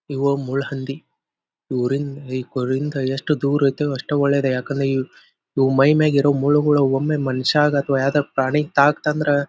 ಇವು ಮುಳ್ಳುಹಂದಿ ಊರಿಂದ ಕೊರಿಂದ ಯೆಸ್ಟ್ ದೂರ್ ಇರ್ತೇವ್ ಅಷ್ಟ ಒಳ್ಳೇದ ಯಾಕಂದ್ರೆ ಇ ಇವ್ ಮೈ ಮ್ಯಾಲೇರುವ ಮುಳ್ಳುಗಳು ಒಮ್ಮೆ ಮನ್ಶ್ಯಾಗ ಅಥವಾ ಯಾವಾದರ ಪ್ರಾಣಿಗೆ ತ್ತಗ್ತ್ ಅಂದ್ರ--